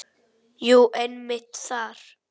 Jú, einmitt þar.